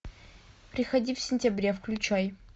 приходи в сентябре включай